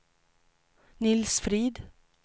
Nils Frid